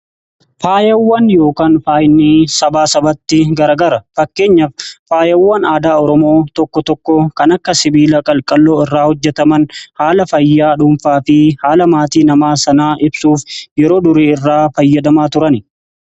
Faayawwan yookiin faaynii sabaa sabatti garagara fakkeenya faayawwan aadaa Oromoo tokko tokko kan akka sibiila qalqalloo irraa hojjetaman haala fayyaa dhuunfaa fi haala maatii namaa sanaa ibsuuf yeroo durii irraa fayyadamaa turan.